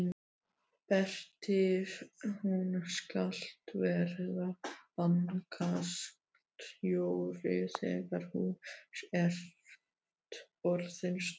Berti þú skalt verða bankastjóri þegar þú ert orðinn stór!